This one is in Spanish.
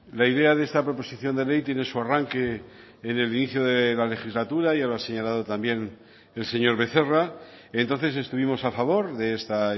la idea de esta proposición de ley tiene su arranque en el inicio de la legislatura ya lo ha señalado también el señor becerra entonces estuvimos a favor de esta